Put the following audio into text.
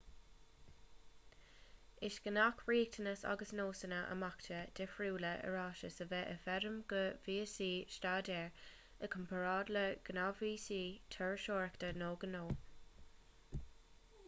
is gnách riachtanais agus nósanna imeachta difriúla iarratais a bheith i bhfeidhm do víosaí staidéir i gcomparáid le gnáthvíosaí turasóireachta nó gnó